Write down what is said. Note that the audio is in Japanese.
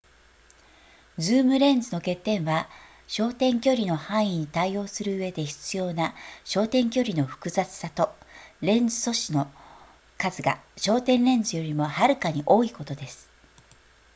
ズームレンズの欠点は焦点距離の範囲に対応するうえで必要な焦点距離の複雑さとレンズ素子の数が焦点レンズよりもはるかに多いことです